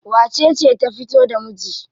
Wacece ta fito da miji?